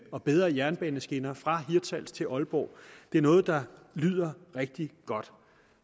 og bedre jernbaneskinner fra hirtshals til aalborg det er noget der lyder rigtig godt